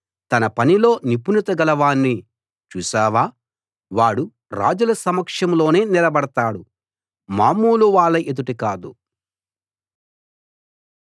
తన పనిలో నిపుణతగల వాణ్ణి చూసావా వాడు రాజుల సమక్షంలోనే నిలబడతాడు మామూలు వాళ్ళ ఎదుట కాదు